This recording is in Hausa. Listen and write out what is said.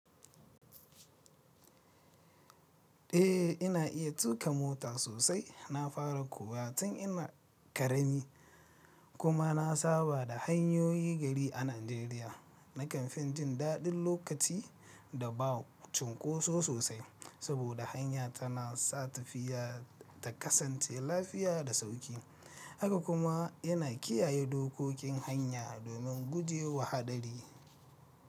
Eh, ina iya tuƙa mota sosai. Na fara kuwa tun ina ƙarami kuma na saba da hanyoyin gari a Najeriya. Nakan fin jin daɗin lokaci da ba cunkoso sosai, saboda hanya tana sa tafiya ta kasance lafiya da sauƙi, haka kuma yana kiyaye dokokin hanya domin guje wa haɗari.